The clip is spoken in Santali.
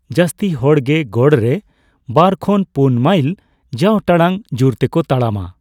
ᱡᱟᱹᱥᱛᱤ ᱦᱚᱲ ᱜᱮ ᱜᱚᱲ ᱨᱮ ᱵᱟᱨ ᱠᱷᱚᱱ ᱯᱩᱱ ᱢᱟᱭᱤᱞ ᱡᱟᱣ ᱴᱟᱲᱟᱝ ᱡᱩᱨ ᱛᱮᱠᱚ ᱛᱟᱲᱟᱢᱟ ᱾